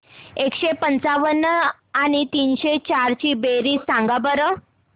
एकशे पंच्याण्णव आणि तीनशे चार ची बेरीज सांगा बरं